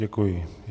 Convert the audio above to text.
Děkuji.